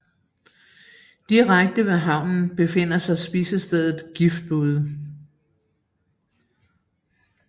Direkte ved havnen befinder sig spisestedet Giftbude